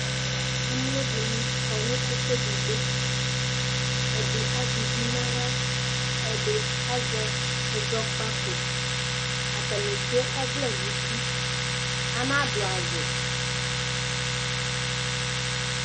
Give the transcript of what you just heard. Amlodini akɔ nu ɛfʊedigbo ɛdi azɛ ʊvi nu aɣia ɛdi azɛ ɛzɔkpako atani etsue ɔvlɛ nu uti anadu awu